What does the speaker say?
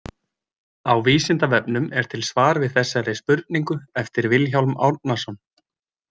Á Vísindavefnum er til svar við þessari spurningu eftir Vilhjálm Árnason.